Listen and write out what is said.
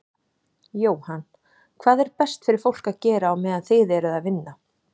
Jóhann: Hvað er best fyrir fólk að gera á meðan þið eruð að vinna?